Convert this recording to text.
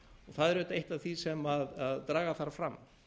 það er auðvitað eitt af því sem draga þarf fram